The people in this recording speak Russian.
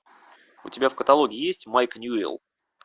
у тебя в каталоге есть майк ньюэлл